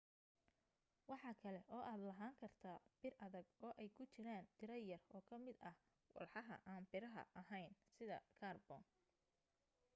waxa kale oo aad lahaan kartaa bir adag oo ay ku jiraan tiro yar oo ka mid ah walxaha aan biraha ahayn sida kaarboon